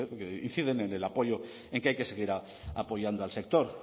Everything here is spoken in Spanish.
que inciden en el apoyo en que hay que seguir apoyando al sector